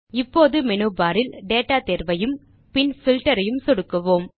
இப்போது menu bar இல் data தேர்வையும் பின் பில்ட்டர் ஐயும் சொடுக்குவோம்